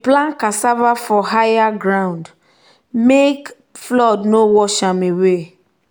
we plant cassava for higher ground make flood no wash am away.